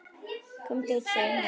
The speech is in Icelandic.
Komum út, sagði hún.